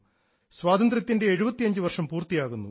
സ്വാതന്ത്ര്യത്തിൻറെ 75 വർഷം പൂർത്തിയാകുന്നു